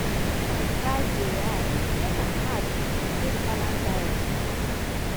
food price price dey high e make am hard to maintain balanced diet for families.